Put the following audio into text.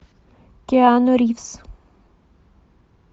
киану ривз